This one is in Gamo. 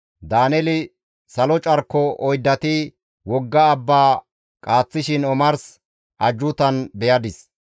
Daaneeli, «Salo carko oyddati wogga abba qaaththishin omars ajjuutan beyadis.